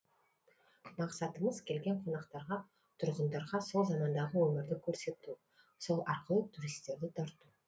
мақсатымыз келген қонақтарға тұрғындарға сол замандағы өмірді көрсету сол арқылы туристерді тарту